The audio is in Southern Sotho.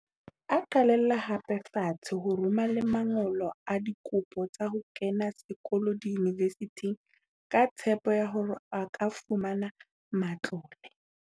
A qalella hape fatshe ho rome la man golo a dikopo tsa ho kena sekolo diyunivesithing ka tshepo ya hore a ka fumana matlole.